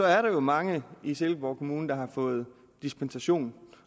er mange i silkeborg kommune der har fået dispensation